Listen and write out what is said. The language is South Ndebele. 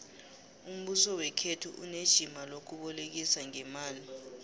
umbuso wekhethu unejima lokubolekisa ngeemali